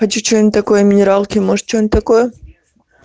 хочу что-нибудь такое минералки может что-нибудь такое